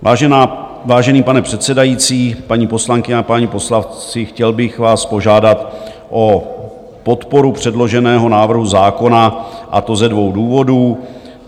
Vážený pane předsedající, paní poslankyně a páni poslanci, chtěl bych vás požádat o podporu předloženého návrhu zákona, a to ze dvou důvodů.